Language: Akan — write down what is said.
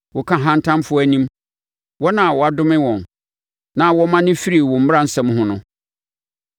Woka ahantanfoɔ anim, wɔn a wɔadome wɔn, na wɔmane firi wo mmaransɛm ho no.